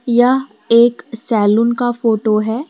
यह एक सैलून का फोटो है।